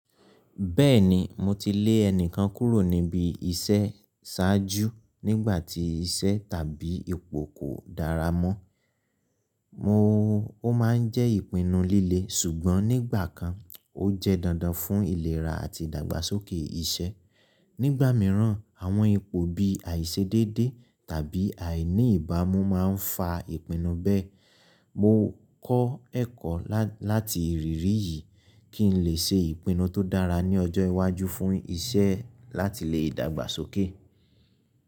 Bẹ́ẹ̀ni, mo ti lé ẹni kan kúrò níbi isẹ saaju nígbà tí iṣẹ́ tàbí ipò kò dára mọ́. Mo ó máa ń jẹ́ ìpinnu líle, sùgbọ́n nígbà kan ó jẹ́ dandan fún ìlera àti ìdàgbàsókè iṣẹ́. Nígbà mìíràn, àwọn ipò bíi àìṣedédé tàbí àìní ìbámu máa ń fa ìpinnu bẹ́ẹ̀. Mo kọ́ ẹ̀kọ́ láti ìrírí yìí kí n lè ṣe ìpinnu tó dára ní ọjọ́ iwájú fún iṣẹ́ láti lè dàgbàsókè.